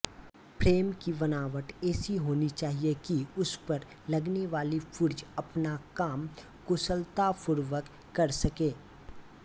frame की बनावट ऐसी होनी चाहिए कि उसपर लगनेवाले पुर्जें अपना काम कुशलतापूर्वक कर सकें